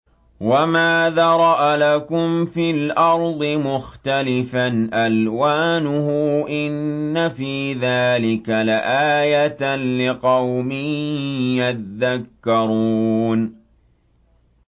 وَمَا ذَرَأَ لَكُمْ فِي الْأَرْضِ مُخْتَلِفًا أَلْوَانُهُ ۗ إِنَّ فِي ذَٰلِكَ لَآيَةً لِّقَوْمٍ يَذَّكَّرُونَ